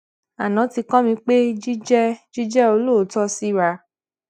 aná ti kó mi pé jíjé jíjé olóòótó síra